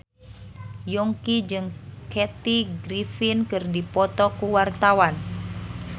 Yongki jeung Kathy Griffin keur dipoto ku wartawan